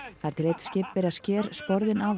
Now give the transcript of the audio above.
þar til einn skipverja sker sporðinn